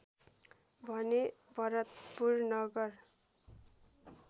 भने भरतपुर नगर